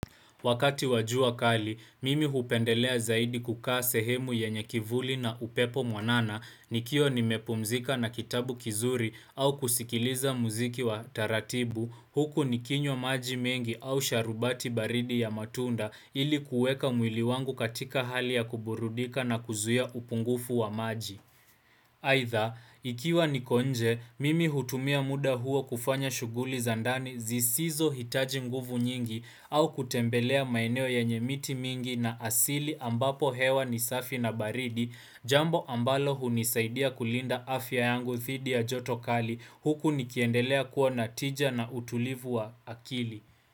Wakati wa jua kali, mimi hupendelea zaidi kukaa sehemu yenye kivuli na upepo mwanana nikiwa nimepumzika na kitabu kizuri au kusikiliza muziki wa taratibu, huku nikinywa maji mengi au sharubati baridi ya matunda ilikuweka mwili wangu katika hali ya kuburudika na kuzuia upungufu wa maji. Aidha, ikiwa niko nje, mimi hutumia muda huo kufanya shughuli za ndani zisizohitaji nguvu nyingi au kutembelea maeneo yenye miti mingi na asili ambapo hewa ni safi na baridi jambo ambalo hunisaidia kulinda afya yangu thidi ya joto kali huku nikiendelea kuwa natija na utulivu wa akili.